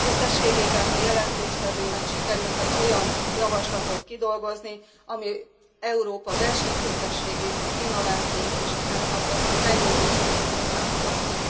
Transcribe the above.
Összességében az előadónak sikerült olyan javaslatot kidolgozni, ami Európa versenyképességét, az innovációt és a fenntartható fejlődést is tudja támogatni.